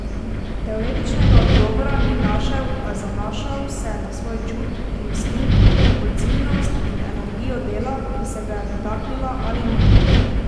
Teoretičnega odgovora ni našel, a zanašal se je na svoj čut, instinkt, odzivnost in energijo dela, ki se ga je dotaknila ali ne.